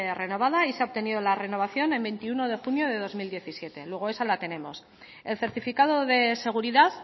renovada y se ha obtenido la renovación en veintiuno de junio de dos mil diecisiete luego esa la tenemos el certificado de seguridad